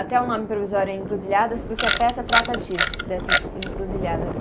Até o nome provisório é encruzilhadas, porque a peça trata disso, dessas encruzilhadas.